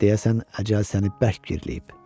Deyəsən əcəl səni bərk birləyib.